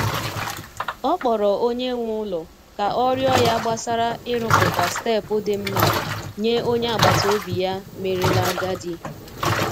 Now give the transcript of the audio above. Ọ kpọrọ onye nwe ụlọ ka ọ rịọ ya gbasara i ruputa steepu dimma nye onye agbata obi ya merela agadi.